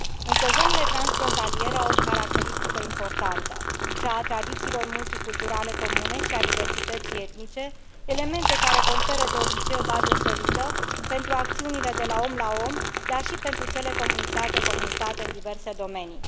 Însă zonele transfrontaliere au o caracteristică importantă, cea a tradițiilor multiculturale comune și a diversității etnice, elemente care conferă de obicei o bază solidă pentru acțiunile de la om la om, dar și pentru cele de la comunitate la comunitate în diverse domenii.